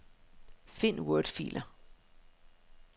Find wordfiler.